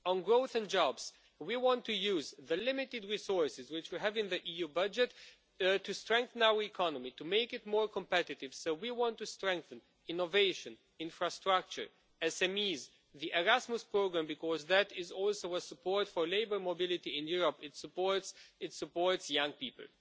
On growth and jobs, we want to use the limited resources which we have in the EU budget to strengthen our economy and to make it more competitive, so we want to strengthen innovation, infrastructure, SMEs and the Erasmus programme, because that is also a support for labour mobility in Europe it supports young people.